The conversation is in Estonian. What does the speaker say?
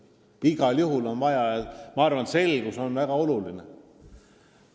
Igal juhul on vaja arutada – selgus on väga oluline.